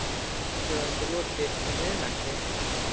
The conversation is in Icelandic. Fundi var ekki lokið um miðnætti